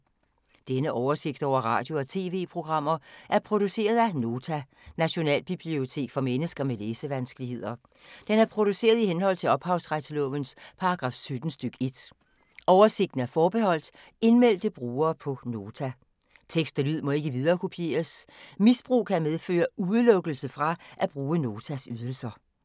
Denne oversigt over radio og TV-programmer er produceret af Nota, Nationalbibliotek for mennesker med læsevanskeligheder. Den er produceret i henhold til ophavsretslovens paragraf 17 stk. 1. Oversigten er forbeholdt indmeldte brugere på Nota. Tekst og lyd må ikke viderekopieres. Misbrug kan medføre udelukkelse fra at bruge Notas ydelser.